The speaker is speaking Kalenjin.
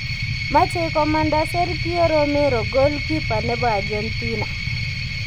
Machei komanda Sergio Romero goalkeeper nebo Argentina